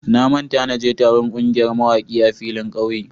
Na manta na je taron kungiyar mawaki a filin ƙauye.